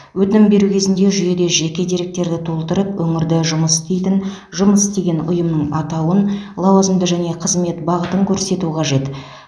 өтінім беру кезінде жүйеде жеке деректерді толтырып өңірді жұмыс істейтін жұмыс істеген ұйымның атауын лауазымды және қызмет бағытын көрсету қажет